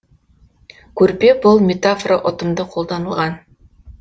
көрпе бұлт метафора ұтымды қолданылған